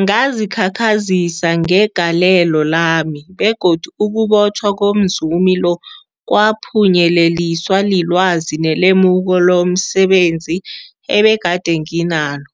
Ngazikhakhazisa ngegalelo lami, begodu ukubotjhwa komzumi lo kwaphunyeleliswa lilwazi nelemuko lomse benzi ebegade nginalo,